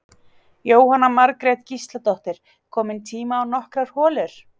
Jóhanna Margrét Gísladóttir: Kominn tími á nokkrar holur?